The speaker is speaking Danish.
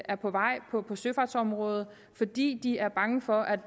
er på vej på søfartsområdet fordi de er bange for at